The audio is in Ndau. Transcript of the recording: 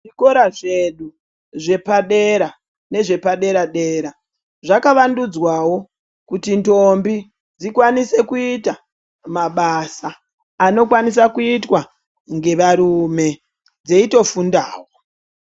Zvikora zvedu zvepadera nezvepadera dera zvakavandudzwawo kuti ntombi dzikwanise kuite mabasa anokwanisa kuitwa ngevarume dzeitofundawo.